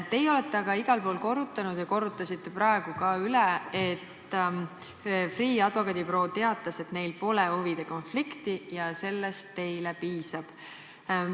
Teie olete aga igal pool korrutanud ja korrutasite praegu ka üle, et Freeh' advokaadibüroo teatas, et neil pole huvide konflikti, ja sellest teile piisab.